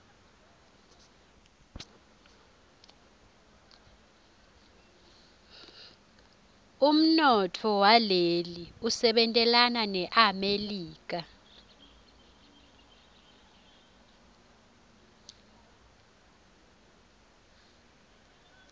umnotfo waleli usebentelana nemelika